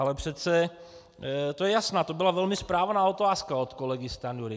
Ale přece, to je jasná, to byla velmi správná otázka od kolegy Stanjury.